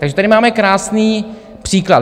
Takže tady máme krásný příklad.